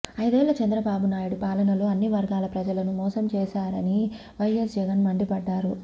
ఐదేళ్ల చంద్రబాబు నాయుడి పాలనలో అన్ని వర్గాల ప్రజలను మోసం చేశారని వైఎస్ జగన్ మండిపడ్డారు